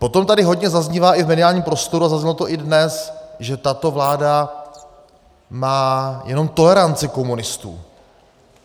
Potom tady hodně zaznívá i v mediálním prostoru a zaznívá to i dnes, že tato vláda má jenom toleranci komunistů.